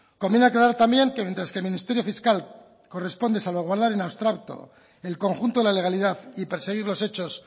conviene aclarar también que mientras el ministerio fiscal corresponde salvaguardar en abstracto el conjunto de la legalidad y perseguir los hechos